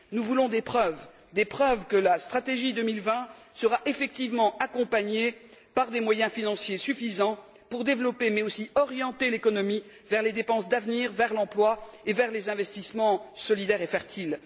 Nous voulons des preuves, des preuves que la stratégie 2020 sera effectivement accompagnée par des moyens financiers suffisants pour développer, mais aussi orienter l'économie vers les dépenses d'avenir, vers l'emploi et vers les investissements solidaires et fertiles.